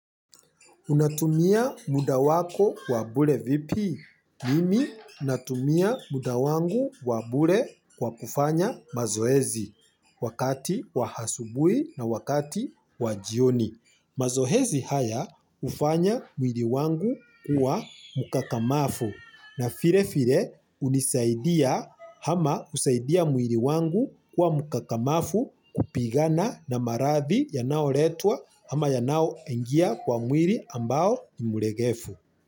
Unatumia muda wako wa bure vipi. Mimi natumia muda wangu wa bure kwa kufanya mazoezi wakati wa hasubui na wakati wa jioni. Mazohezi haya ufanya mwili wangu kuwa mukakamafu na fire fire unisaidia hama usaidia mwili wangu kuwa mukakamafu kupigana na maradhi yanaoletwa ama yanaoingia kwa mwili ambao ni mlegefu.